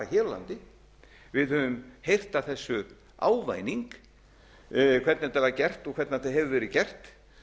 ekki bara hér á landi við höfum heyrt af þessu ávæning hvernig þetta var gert og hvernig þetta hefur verið gert